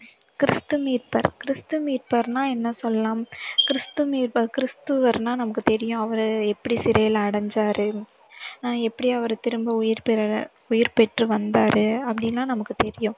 கிறிஸ்து மீட்பர் கிறிஸ்து மீட்பர்னா என்ன சொல்லலாம் கிறிஸ்து மீட்பர் கிறிஸ்துவர்னா நமக்கு தெரியும் அவரு எப்படி சிறையில அடைஞ்சாரு அஹ் எப்படி அவர் திரும்ப உயிர் பெற~ உயிர் பெற்று வந்தாரு அப்படின்னா நமக்கு தெரியும்